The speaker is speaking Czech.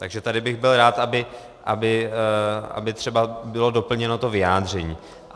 Takže tady bych byl rád, aby třeba bylo doplněno to vyjádření.